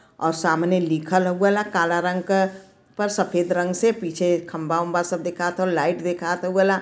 और सामने लिखल हउआ ल काला रंग क पर सफ़ेद रंग से पीछे खम्भा वाम्बा सब दिखता| लाइट दिखात हाउला--